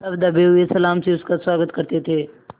तब दबे हुए सलाम से उसका स्वागत करते थे